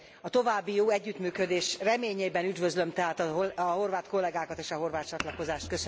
A további jó együttműködés reményében üdvözlöm tehát a horvát kollégákat és a horvát csatlakozást.